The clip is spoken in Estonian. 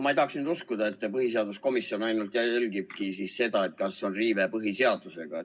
Ma ei taha nüüd uskuda, et põhiseaduskomisjon ainult jälgib seda, kas on tegu põhiseaduse riivega.